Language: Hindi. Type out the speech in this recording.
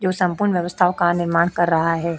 जो संपूर्ण व्यवस्थाओं का निर्माण कर रहा है।